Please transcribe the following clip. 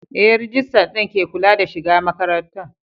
Ee, rijistar din ke kula da shiga makarantar.